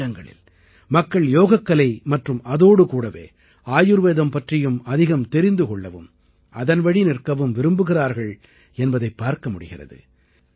பல இடங்களில் மக்கள் யோகக்கலை மற்றும் அதோடு கூடவே ஆயுர்வேதம் பற்றியும் அதிகம் தெரிந்து கொள்ளவும் அதன்வழி நிற்கவும் விரும்புகிறார்கள் என்பதைப் பார்க்க முடிகிறது